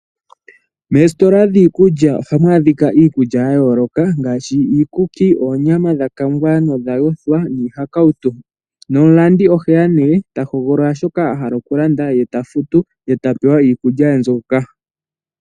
Mesitola dhii kulya ohamu adhika iikulya ya yooloka ngaashi iikuki, oonyama dhakangwa nodha yothwa niihakautu . No mulandi oheya nee tahogolola shoka ahala okulanda ye tafutu ye tapewa iikulya ye mbyoka.